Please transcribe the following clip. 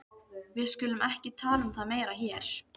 Við skulum ekki tala um það meira hér.